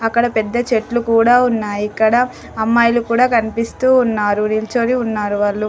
అక్కడ పెద్ద చెట్లు కూడా ఉన్నాయి. ఇక్కడ అమ్మాయిలు కూడా కనిపిస్తూ ఉన్నారు. నిల్చొని ఉన్నారు వాళ్ళు.